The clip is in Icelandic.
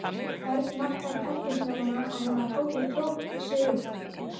Örn nartaði í tertusneiðina á meðan Tóti tróð sig út.